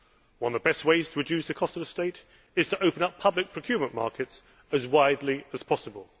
One of the best ways to reduce the cost of the state is to open up public procurement markets as widely as possible.